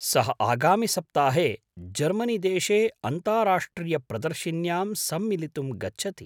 सः आगामिसप्ताहे जर्मनीदेशे अन्ताराष्ट्रियप्रदर्शिन्यां सम्मिलितुं गच्छति।